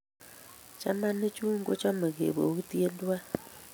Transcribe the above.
chamanik chun kochame kobokitie tuwai